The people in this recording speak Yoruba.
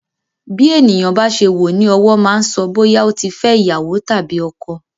Bí ènìyàn bá ṣe wọ ní ọwọ́ máa ń so bóyá ó ti fẹ́ iyawo tàbí ọkọ.